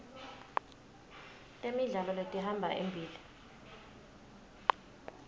temidlalo letihamba embili